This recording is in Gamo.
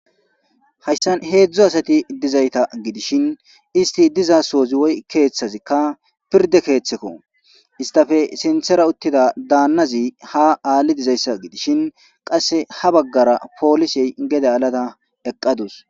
Haysan hedzu asati dizayata gidishin isiti dizaso woyko pirde kethako istpe sintha utida danazi ha ali dizaysa gidishn qase ha bagara polisey gede alada eqadusu